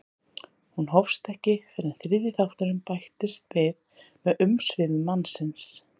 Hún hófst ekki fyrr en þriðji þátturinn bætist við með umsvifum mannsins.